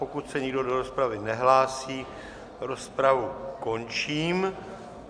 Pokud se nikdo do rozpravy nehlásí, rozpravu končím.